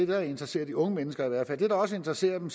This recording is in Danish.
der interesserer de unge mennesker det der sikkert også interesserer dem